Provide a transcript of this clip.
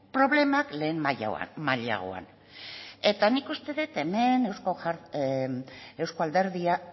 problema lehen mailan eta nik uste dut hemen